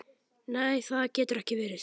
Nei það getur ekki verið.